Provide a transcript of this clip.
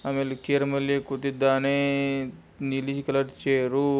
ಆಮೇಲೆ ಚೇರ್ ಮೇಲೆ ಕೂತಿದ್ದಾನೆ ನೀಲಿ ಕಲರ್ ಚೇರು .